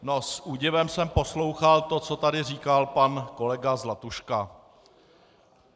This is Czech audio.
No, s údivem jsem poslouchal to, co tady říkal pan kolega Zlatuška.